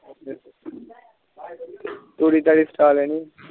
ਤੁਰੀ ਤਾਰੀ ਸਤਾ ਡੇਨਿਸਿ